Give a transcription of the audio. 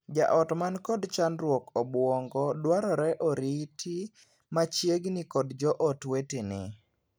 Jaot man kod chandruog obuongo dwarore oriti machiegni kod joot wetene.